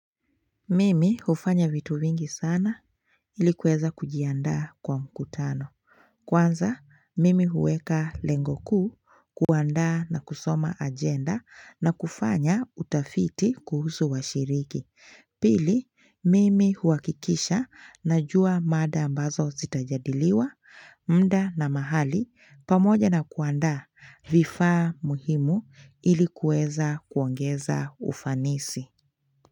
Mimi hufanya vitu vingi sana ilikuweza kujianda kwa mkutano Kwanza mimi huweka lengokuu kuanda na kusoma agenda na kufanya utafiti kuhusu washiriki Pili mimi huakikisha najua mada ambazo zitajadiliwa mda na mahali pamoja na kuanda vifa muhimu ilikuweza kuongeza ufanisi.